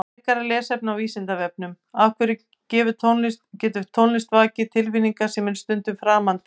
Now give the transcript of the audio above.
Frekara lesefni á Vísindavefnum Af hverju getur tónlist vakið tilfinningar sem eru stundum framandi?